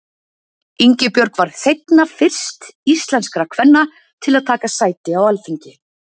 Ingibjörg varð seinna fyrst íslenskra kvenna til að taka sæti á Alþingi.